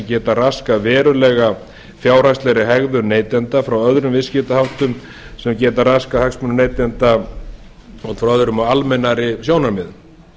geta raskað verulega fjárhagslegri hegðun neytenda frá öðrum viðskiptaháttum sem geta raskað hagsmunum neytenda út frá öðrum og almennari sjónarmiðum